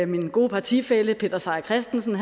min gode partifælle peter seier christensen